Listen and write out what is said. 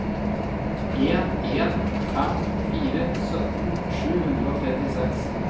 en en fem fire sytten sju hundre og trettiseks